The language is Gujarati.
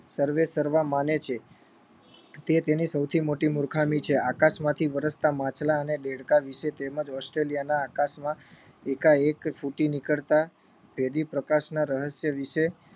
સર્વેસર્વા માને છે તે તેની સૌથી મોટી મુર્ખામી છે આકાશમાંથી વરસતા માછલાં અને દેડકા વિષે તેમજ ઓસ્ટ્રેલિયાના આકાશમાં એકાએક ફૂટી નીકળતા ભેદી પ્રકાશના રહસ્ય વિષે